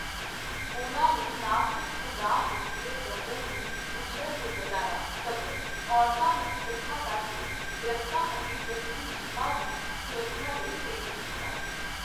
ਉਨ੍ਹਾਂ ਨੇ ਨਾ ਸਿਰਫ਼ ਪੰਜਾਹ ਹੈਕਟੇਅਰ ਜੰਗਲ ਨੂੰ ਉਜੜਣ ਤੋਂ ਬਚਾਇਆ ਸਗੋਂ ਔਰਤਾਂ ਨੂੰ ਇਕੱਠਾ ਕਰਕੇ ਦਰੱਖਤਾਂ ਅਤੇ ਜੰਗਲੀ ਜੀਵਾਂ ਦੀ ਸੁਰੱਖਿਆ ਲਈ ਪ੍ਰੇਰਿਤ ਕੀਤਾ।